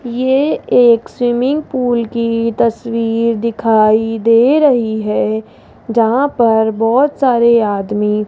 ये एक swimming pool की तस्वीर दिखाई दे रही है जहां पर बहोत सारे आदमी --